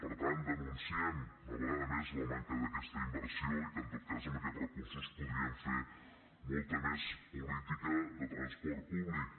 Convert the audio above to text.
per tant denunciem una vegada més la manca d’aquesta inversió i que en tot cas amb aquests recursos podríem fer molta més política de transport públic